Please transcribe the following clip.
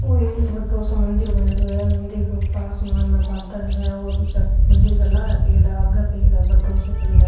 ओ एक बड़ो सा मंदिर बनेडो है मंदिर के ऊपर आसमान में बादल है और मंदिर के लारा पेड़ है आगे पेड़ है बड़ो सो पेड़ है।